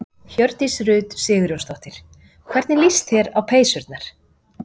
Hjördís Rut Sigurjónsdóttir: Hvernig líst þér á peysurnar?